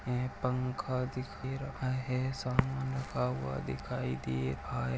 पंखा दिखी रहा है सामन रखा हुआ दिखाई दे रहा है।